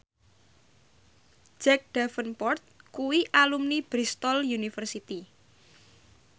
Jack Davenport kuwi alumni Bristol university